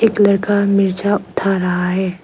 एक लड़का मिर्चा उठा रहा है।